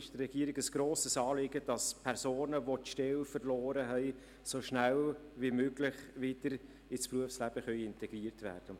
Es ist der Regierung ein grosses Anliegen, dass Personen, welche die Stelle verloren haben, so schnell wie möglich wieder in das Berufsleben integriert werden können.